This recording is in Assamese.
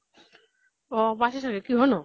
অ পাইছে চাগে। কিহৰনো?